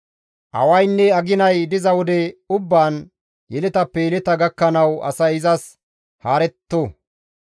Awaynne aginay diza wode ubbaan yeletappe yeleta gakkanawu asay izas haaretto.